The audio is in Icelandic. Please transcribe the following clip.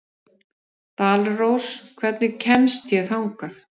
Dalrós, hvernig kemst ég þangað?